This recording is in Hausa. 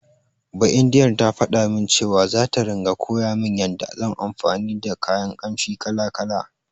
Baindiyar ta faɗa min cewa, zata ringa koya min yanda zan anfani da kayan ƙamshi kala-kala.